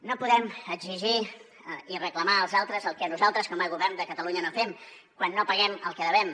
no podem exigir i reclamar als altres el que nosaltres com a govern de catalunya no fem quan no paguem el que devem